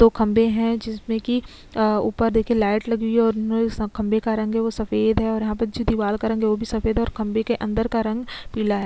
दो खम्भे है जिसमें की अ ऊपर देखिये लाइट लगी हुई है और खम्भे का रंग है वो सफ़ेद है और यहाँ पर जो दिवार का रंग है वो भी सफ़ेद है और खम्भे के अंदर का रंग पीला है।